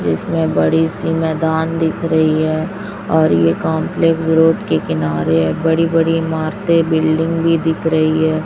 जिसमें बड़ी- सी मैदान दिख रही है और यह कॉम्प्लेक्स रोड के किनारे है बड़ी- बड़ी इमारतें बिल्डिंग भी दिख रही हैं।